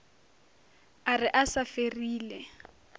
a re a sa ferile